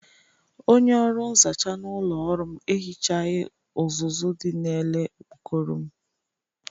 Onye ọrụ nzacha n'ụlọ ọrụ m ehichaghi ụzụzu dị n'ele okpokoro m.